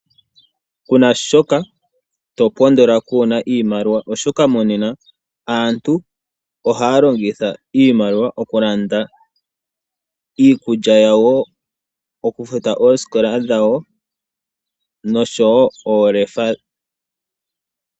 Kuna shoka topondola kuuna iimaliwa oshoka monena aantu ohaya longitha iimaliwa okulanda iikulya yawo , okufuta ooskola dhawo noshowo oolefa.